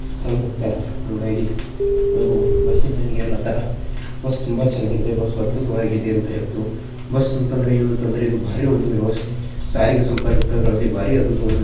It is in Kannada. ಬಸ್ಸಿ ನ ಮೇಲೆ ಎಲ್ಲ ಹತಾರ ತುಂಬಾ ಚೆನ್ನಾಗಿ ಅದ್ಭುತವಾಗಿದೆ ಅಂತತುಂಬಾ ಚೆನ್ನಾಗಿ ಅದ್ಭುತವಾಗಿದೆ ಅಂತ ಬಸ್ ಅಂದ್ರೆ ಇದು ಒಂದು ಸಾರಿಗೆ ವ್ಯವಸ್ಥೆ ತುಂಬಾ ಅದ್ಭುತವಾಗಿದೆ.